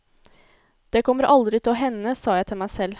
Det kommer aldri til å hende, sa jeg til meg selv.